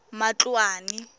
matloane